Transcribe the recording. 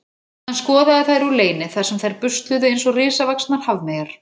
Hann skoðaði þær úr leyni þar sem þær busluðu eins og risavaxnar hafmeyjar.